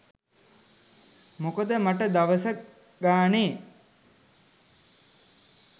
මොකද මට දවස ගානේ